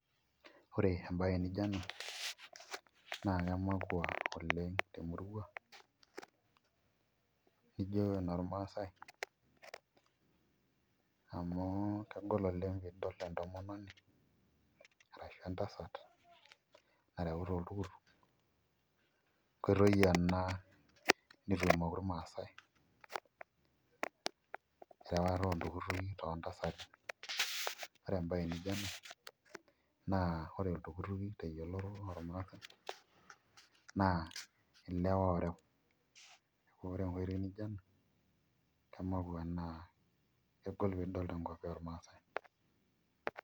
Ore embae nijo ena na kemakwa oleng temurua ijo enormasai amu kegol oleng tenidol entomononi arashu entasat nareuta oltukutuk, neaku kemakwa ena tormaasai neakubore embae nijo ino ore oltukutuk iyiolorona ore enkoitoi nijo ena kemakwa naa kegol pinepu tenkop ormasaai.